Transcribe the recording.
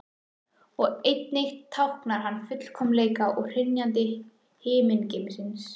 Og einnig táknar hann fullkomleika og hrynjandi himingeimsins.